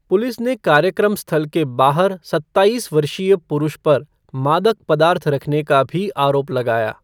Police ने कार्यक्रम स्थल के बाहर सत्ताईस वर्षीय पुरुष पर मादक पदार्थ रखने का भी आरोप लगाया।